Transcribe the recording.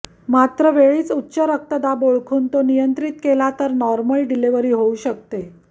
मात्र जर वेळीच उच्च रक्तदाब ओळखून तो नियंत्रित केला तर नॉर्मल डिलिव्हरी होऊ शकते